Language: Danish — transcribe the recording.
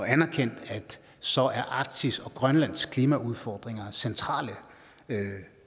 anerkendt at så er arktis og grønlands klimaudfordringer centrale